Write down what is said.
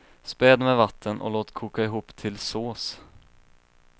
Späd med vatten och låt koka ihop till sås.